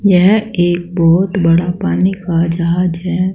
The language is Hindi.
यह एक बहुत बड़ा पानी का जहाज है।